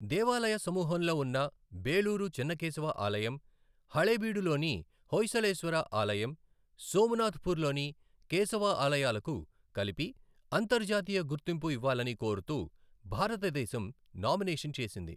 దేవాలయ సమూహంలో ఉన్న బేలూరు చెన్నకేశవ ఆలయం, హళేబీడు లోని హొయసలేశ్వర ఆలయం, సోమనాథపూర్ లోని కేశవ ఆలయాలకు కలిపి అంతర్జాతీయ గుర్తింపు ఇవ్వాలని కోరుతూ భారతదేశం నామినేషన్ చేసింది.